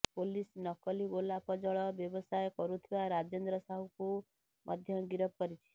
police ନକଲି ଗୋଲାପ ଜଳ ବ୍ୟବସାୟ କରୁଥିବା ରାଜେନ୍ଦ୍ର ସାହୁକୁ ମଧ୍ୟ ଗିରଫ କରିଛି